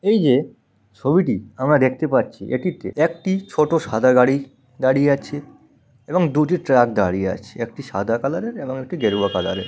এই যে ছবিটি আমরা দেখতে পাচ্ছি এটিতে একটি ছোট সাদা গাড়ি দাঁড়িয়ে আছে এবং দুটি ট্রাক দাঁড়িয়ে আছে একটি সাদা কালার -এর এবং একটি গেরুয়া কালার এর।